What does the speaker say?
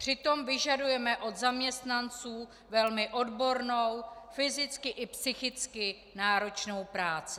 Přitom vyžadujeme u zaměstnanců velmi odbornou fyzicky i psychicky náročnou práci.